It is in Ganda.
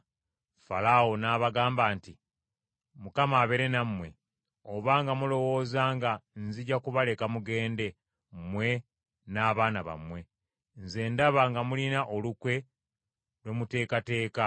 Falaawo n’abagamba nti, “ Mukama abeere nammwe, obanga mulowooza nga nzija kubaleka mugende, mmwe n’abaana bammwe! Nze ndaba nga mulina olukwe lwe muteekateeka.